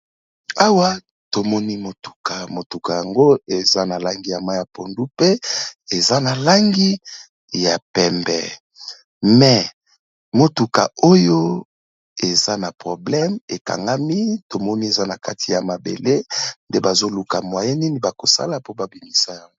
Awa tomoni motuka, motuka yango eza na langi ya mayi ya pondu mpe eza na langi ya pembé mais motuka oyo eza na problème ékangami. Tomoni eza na kati ya mabéle nde bazoluka moyen nini bakosala po babimisa yango.